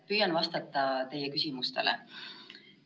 Püüan vastata teie küsimustele.